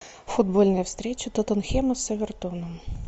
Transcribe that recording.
футбольная встреча тоттенхэма с эвертоном